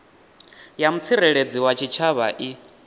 ya mutsireledzi wa tshitshavha i